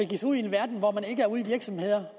virksomhederne